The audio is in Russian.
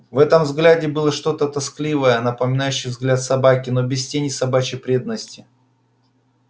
в этом взгляде было что-то тоскливое напоминающее взгляд собаки но без тени собачьей преданности